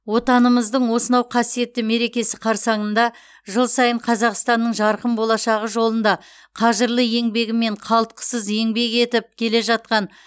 отанымыздың осынау қасиетті мерекесі қарсаңында жыл сайын қазақстанның жарқын болашағы жолында қажырлы еңбегімен қалтқысыз еңбек етіп келе жатқан